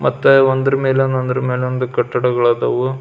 ಮತ್ತೆ ಒಂದರ ಮೇಲೆ ಒಂದು ಒಂದರ ಮೇಲೆ ಒಂದು ಕಟ್ಟಡಗಳು ಅದಾವು.